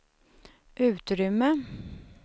utrymme